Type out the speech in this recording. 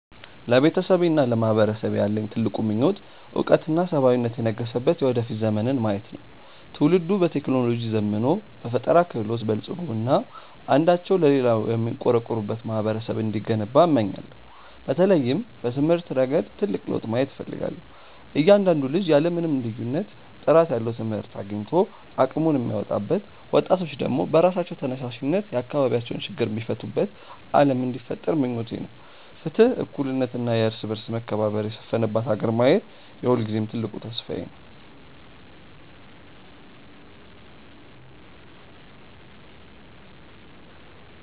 ለቤተሰቤና ለማህበረሰቤ ያለኝ ትልቁ ምኞት እውቀትና ሰብአዊነት የነገሰበት የወደፊት ዘመንን ማየት ነው። ትውልዱ በቴክኖሎጂ ዘምኖ፣ በፈጠራ ክህሎት በልፅጎ እና አንዳቸው ለሌላው የሚቆረቆሩበት ማህበረሰብ እንዲገነባ እመኛለሁ። በተለይም በትምህርት ረገድ ትልቅ ለውጥ ማየት እፈልጋለሁ፤ እያንዳንዱ ልጅ ያለ ምንም ልዩነት ጥራት ያለው ትምህርት አግኝቶ አቅሙን የሚያወጣበት፣ ወጣቶች ደግሞ በራሳቸው ተነሳሽነት የአካባቢያቸውን ችግር የሚፈቱበት ዓለም እንዲፈጠር ምኞቴ ነው። ፍትህ፣ እኩልነት እና የእርስ በርስ መከባበር የሰፈነባት ሀገር ማየት የሁልጊዜም ትልቅ ተስፋዬ ነው።